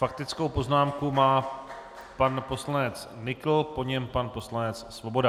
Faktickou poznámku má pan poslanec Nykl, po něm pan poslanec Svoboda.